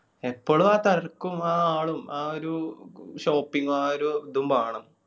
എപ്പോളു ആ തെരക്കും ആ ആളും ആ ഒരു shopping ആ ഒരു ഇതും ബാണം.